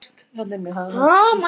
Þórveig, hvað er klukkan?